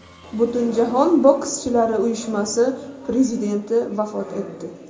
Butunjahon bokschilar uyushmasi prezidenti vafot etdi.